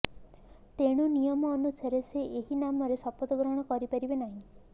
ତେଣୁ ନିୟମ ଅନୁସାରେ ସେ ଏହି ନାମରେ ଶପଥ ଗ୍ରହଣ କରିପାରିବେ ନାହିଁ